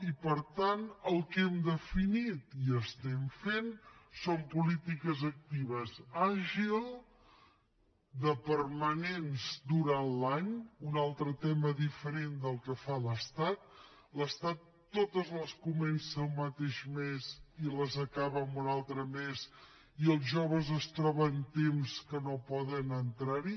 i per tant el que hem definit i estem fent són polítiques actives àgils permanents durant l’any un altre tema diferent del que fa l’estat l’estat totes les comença al mateix mes i les acaba un altre mes i els joves es troben un temps que no poden entrar hi